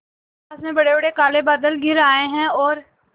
आकाश में बड़ेबड़े काले बादल घिर आए हैं और